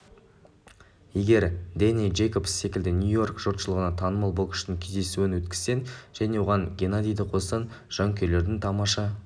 егер дэнни джейкобс секілді нью-йорк жұртшылығына танымал боксшының кездесуін өткізсең және оған геннадийді қоссаң жанкүйерлердің тамаша